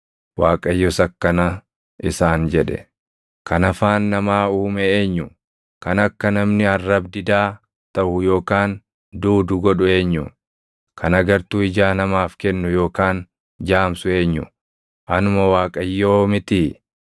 Waaqayyos akkana isaan jedhe; “Kan afaan namaa uume eenyu? Kan akka namni arrab-didaa taʼu yookaan duudu godhu eenyu? Kan agartuu ijaa namaaf kennu yookaan jaamsu eenyu? Anuma Waaqayyoo mitii?